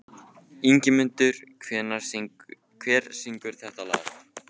Ingimundur, hver syngur þetta lag?